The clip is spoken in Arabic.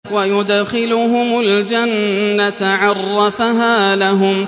وَيُدْخِلُهُمُ الْجَنَّةَ عَرَّفَهَا لَهُمْ